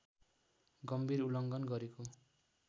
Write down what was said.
गम्भीर उल्लङ्घन गरेको